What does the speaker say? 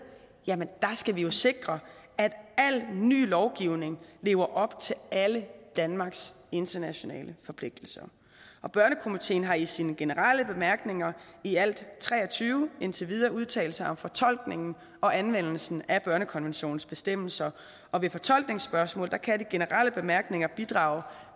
skal vi sikre at al ny lovgivning lever op til danmarks internationale forpligtelser børnekomiteen har i sine generelle bemærkninger i alt tre og tyve indtil videre udtalt sig om fortolkningen og anvendelsen af børnekonventionens bestemmelser og ved fortolkningsspørgsmål kan de generelle bemærkninger bidrage